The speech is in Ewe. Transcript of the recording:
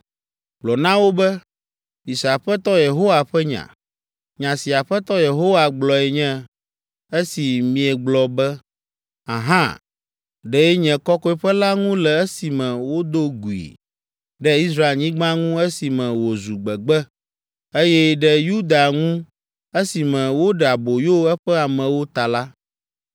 Gblɔ na wo be, ‘Mise Aƒetɔ Yehowa ƒe nya. Nya si Aƒetɔ Yehowa gblɔe nye, esi miegblɔ be, “Ahã” ɖe nye kɔkɔeƒe la ŋu le esime wodo gui, ɖe Israelnyigba ŋu esime wòzu gbegbe, eye ɖe Yuda ŋu esime woɖe aboyo eƒe amewo ta la,